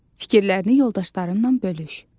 Fikirlərini yoldaşlarınla bölüş.